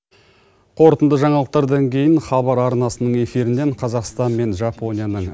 қорытынды жаңалықтардан кейін хабар арнасының эфирінен қазақстан мен жапонияның